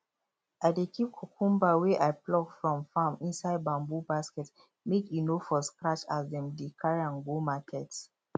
i dey keep cucumber wey i pluck from farm inside bamboo basket make e for no scratch as dem dey carry am go market